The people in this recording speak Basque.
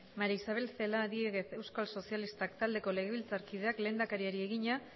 maría isabel celaá diéguez euskal sozialistak taldeko legebiltzarkideak lehendakariari egina